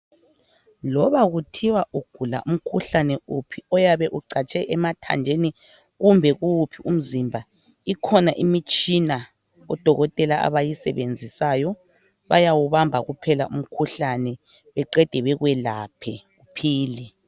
Loba kuthiwa ugula umkhuhlane uphi oyabe ucatshe emathanjeni kumbe kuwuphi umzimba ikhona imitshina odokotela abayisebenzisayo bayawubamba kuphela umkhuhlane beqede bekwelaphe kuphele